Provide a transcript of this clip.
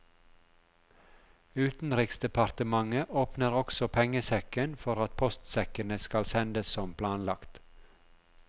Utenriksdepartementet åpner også pengesekken for at postsekkene skal sendes som planlagt.